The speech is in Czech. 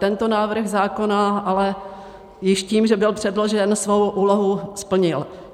Tento návrh zákona ale již tím, že byl předložen, svou úlohu splnil.